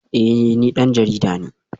Eh ni dan jarida ne